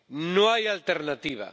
No hay alternativa.